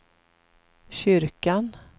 kyrkan